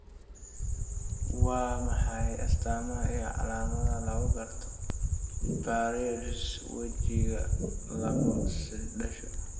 Waa maxay astaamaha iyo calaamadaha lagu garto paresis wejiga lagu dhasho?